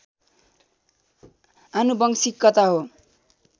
आनुवंशिकता हो।